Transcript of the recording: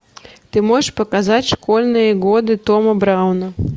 ты можешь показать школьные годы тома брауна